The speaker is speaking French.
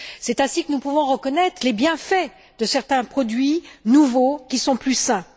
C'est ainsi que nous pouvons reconnaître les bienfaits de certains produits nouveaux qui sont plus sains.